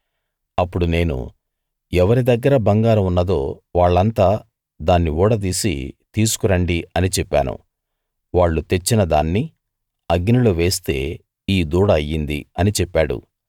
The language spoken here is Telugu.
అప్పుడు నేను ఎవరి దగ్గర బంగారం ఉన్నదో వాళ్ళంతా దాన్ని ఊడదీసి తీసుకు రండి అని చెప్పాను వాళ్ళు తెచ్చిన దాన్ని అగ్నిలో వేస్తే ఈ దూడ అయ్యింది అని చెప్పాడు